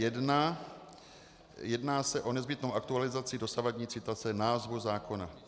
Jedná se o nezbytnou aktualizaci dosavadní citace názvu zákona.